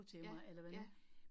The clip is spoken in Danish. Ja, ja